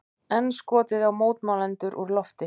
Enn skotið á mótmælendur úr lofti